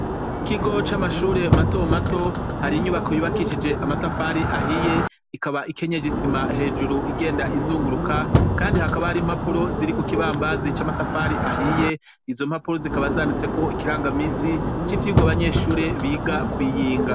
Ikigo c'amashure mato mato hari inyubako yubakishije amatafari ahiye ikaba ikenyeje isima hejuru igenda izunguruka kandi hakaba hari impapuro ziri ku kibambazi c'amatafari ahiye izo mpapuro zikaba zanditseko ikirangaminsi c'ivyigwa abanyeshure biga kw'iyinga.